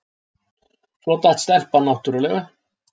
Svo datt stelpan náttúrlega.